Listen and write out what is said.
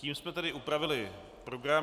Tím jsme tedy upravili program.